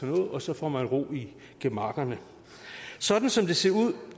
noget og så får man ro i gemakkerne sådan som det ser ud